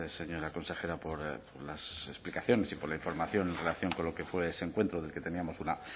señora consejera por las explicaciones y por la información en relación con lo fue ese encuentro del que teníamos una